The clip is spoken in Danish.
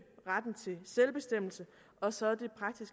retten til selvbestemmelse og så